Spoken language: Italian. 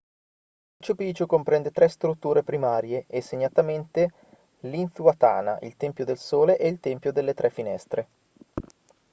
machu picchu comprende tre strutture primarie e segnatamente l'intihuatana il tempio del sole e il tempio delle tre finestre